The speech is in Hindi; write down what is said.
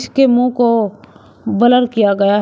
उसके मुंह को ब्लर किया गया है।